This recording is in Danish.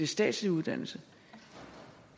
statslig uddannelse